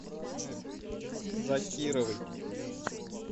закировой